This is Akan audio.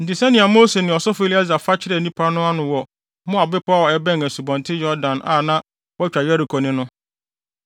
Enti sɛnea Mose ne ɔsɔfo Eleasar fa kyerɛɛ nnipa no ano wɔ Moab bepɔw a ɛbɛn Asubɔnten Yordan a na wɔatwa Yeriko ne no.